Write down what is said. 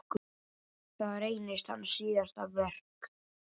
Það reynist hans síðasta verk.